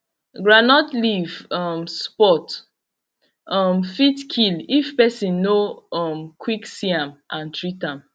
groundnut leaf um spot um fit kill if person no um quick see am and treat am